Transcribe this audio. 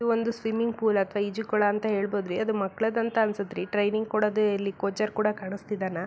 ಇವು ಒಂದು swimming pool ಅಥವಾ ಈಜುಕೊಳ ಅಂತ ಹೇಳ್ಬಹುದು ರೀ ಅದು ಮಕ್ಕಳದ್ದು ಅಂತ ಅನುತ್ತೆ ರೀ ಟ್ರೈನಿಂಗ್ ಕೊಡೋದು ಇಲ್ಲಿ ಕೋಚೆರ್ ಕೂಡ ಕಾಣಿಸ್ತಿದ್ದಾನಾ.